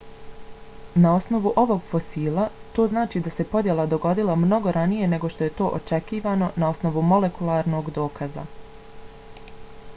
na osnovu ovog fosila to znači da se podjela dogodila mnogo ranije nego što je to očekivano na osnovu molekularnog dokaza.